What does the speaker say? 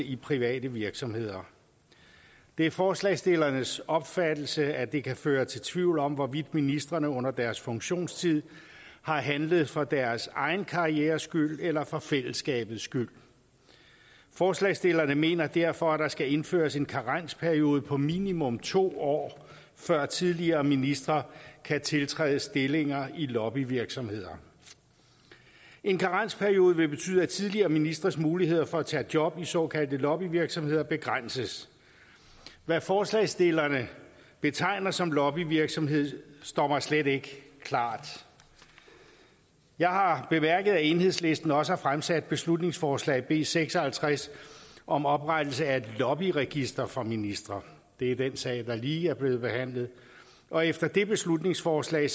i private virksomheder det er forslagsstillernes opfattelse at det kan føre til tvivl om hvorvidt ministrene under deres funktionstid har handlet for deres egen karrieres skyld eller for fællesskabets skyld forslagsstillerne mener derfor at der skal indføres en karensperiode på minimum to år før tidligere ministre kan tiltræde stillinger i lobbyvirksomheder en karensperiode vil betyde at tidligere ministres muligheder for at tage job i såkaldte lobbyvirksomheder begrænses hvad forslagsstillerne betegner som lobbyvirksomhed står mig slet ikke klart jeg har bemærket at enhedslisten også har fremsat beslutningsforslag b seks og halvtreds om oprettelse af et lobbyregister for ministre det er den sag der lige er blevet behandlet og efter det beslutningsforslag